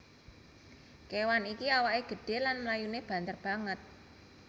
Kewan iki awaké gedhé lan mlayuné banter banget